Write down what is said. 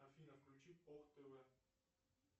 афина включи ох тв